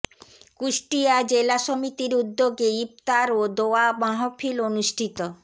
কুষ্টিয়া জেলা সমিতির উদ্যোগে ইফতার ও দোয়া মাহফিল অনুষ্ঠিত